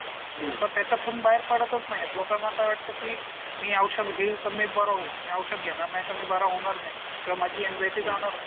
लोकं त्याच्यातून बाहेर पडतच नाहीयेत लोकांना वाटतं की मी औषध घेईल तर मी बरं होईल. मी औषध घेणार नाही तर मी बरा होणार नाही. किंवा माझी एंझाइटी जाणार नाही.